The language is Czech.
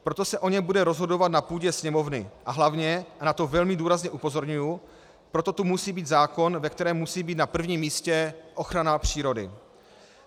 Proto se o něm bude rozhodovat na půdě Sněmovny a hlavně, a na to velmi důrazně upozorňuji, proto tu musí být zákon, ve kterém musí být na prvním místě ochrana přírody.